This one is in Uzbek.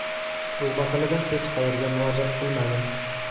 Bu masalada hech qayerga murojaat qilmadim.